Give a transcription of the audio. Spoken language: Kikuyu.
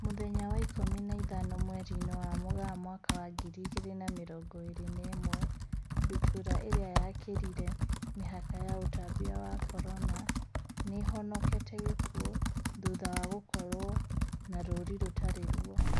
Mũthenya wa ikũmi na ithano mweri-inĩ wa Mũgaa mwaka wa ngiri igĩrĩ na mĩrongo ĩrĩ na ĩmwe, ndutura ĩrĩa yakĩrire mĩhaka ya ũtambia wa Corona, nĩihonokete gĩkuo thutha wa gũkorwo na rũri rũtari ruo